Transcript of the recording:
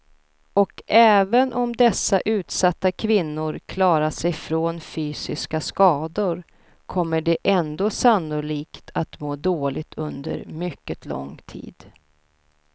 Och även om dessa utsatta kvinnor klarat sig från fysiska skador kommer de ändå sannolikt att må dåligt under mycket lång tid.